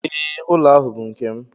Ee, ụlọ ahu bụ nke m.